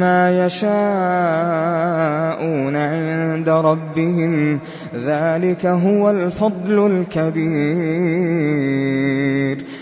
مَّا يَشَاءُونَ عِندَ رَبِّهِمْ ۚ ذَٰلِكَ هُوَ الْفَضْلُ الْكَبِيرُ